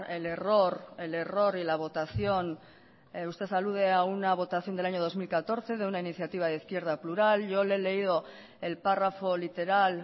el error el error y la votación usted alude a una votación del año dos mil catorce de una iniciativa de izquierda plural yo le he leído el párrafo literal